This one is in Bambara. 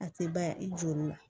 A tɛ ban i jo la